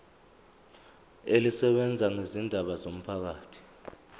elisebenza ngezindaba zomphakathi